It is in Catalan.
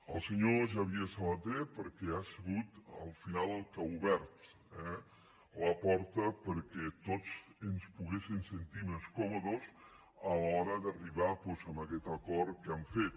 al senyor xavier sabaté perquè ha sigut al final el que ha obert eh la porta perquè tots ens poguéssim sentir més còmodes a l’hora d’arribar doncs a aquest acord que hem fet